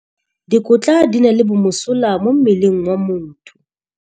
Dikotla di na le bomosola mo mmeleng wa motho.